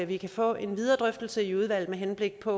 vi kan få en videre drøftelse i udvalget med henblik på